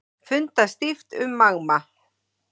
Fundað stíft um Magma